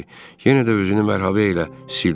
Yenə də üzünü məhrəbə ilə sildi.